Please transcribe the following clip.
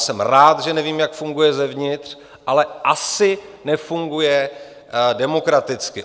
Jsem rád, že nevím, jak funguje zevnitř, ale asi nefunguje demokraticky.